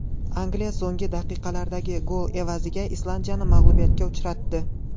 Angliya so‘nggi daqiqalardagi gol evaziga Islandiyani mag‘lubiyatga uchratdi.